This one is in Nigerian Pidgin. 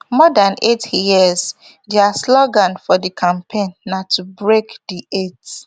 more dan eight years dia slogan for di campaign na to break di eight